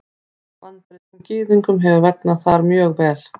Bandarískum Gyðingum hefur vegnað þar mjög vel.